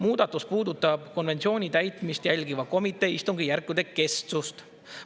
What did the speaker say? Muudatus puudutab konventsiooni täitmist jälgiva komitee istungjärkude kestust.